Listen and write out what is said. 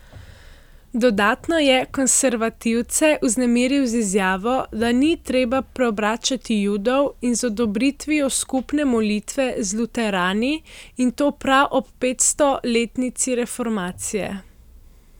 Dodatno je konservativce vznemiril z izjavo, da ni treba preobračati judov, in z odobritvijo skupne molitve z luterani, in to prav ob petstoletnici reformacije.